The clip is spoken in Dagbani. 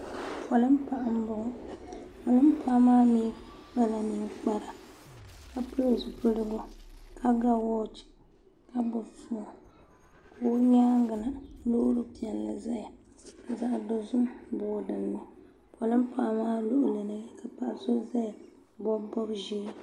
polin' paɣa m bɔŋɔ polin' paɣa maa mi kpala ninkpara ka pili zupiligu ka ga wɔɔch ka gbubi foon ka o nyaaga na loori piɛlli zaya zaɣ' dozim boi dini polin' paɣa maa luɣili ni ka paɣa so ʒeya m-bɔbi bɔb' ʒee.